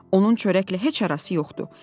Onun çörəklə heç arası yoxdur.